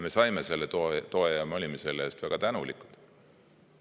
Me saime selle toe ja me olime selle eest väga tänulikud.